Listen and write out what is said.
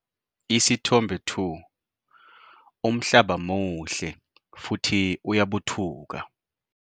Isithombe 2- Umhlaba muhle futhi uyabuthuka.